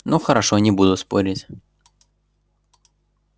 ну хорошо не буду спорить